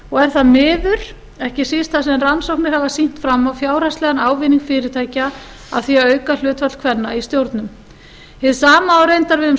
fjármálafyrirtækja er það miður ekki síst þar sem rannsóknir hafa sýnt fram á fjárhagslegan ávinning fyrirtækja af því að auka hlutfall kvenna í stjórnum hið sama á reyndar við um